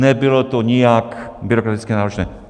Nebylo to nijak byrokraticky náročné.